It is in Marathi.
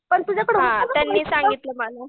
हां त्यांनी सांगितलं मला.